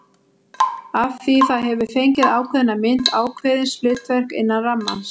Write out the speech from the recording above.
Af því það hefur fengið ákveðna mynd, ákveðið hlutverk, innan rammans.